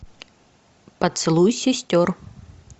поцелуй сестер